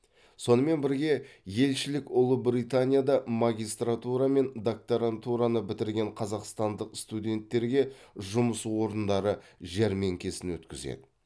сонымен бірге елшілік ұлыбританияда магистратура мен докторантураны бітіретін қазақстандық студенттерге жұмыс орындары жәрмеңкесін өткізеді